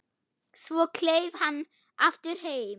Svo kleif hann aftur heim.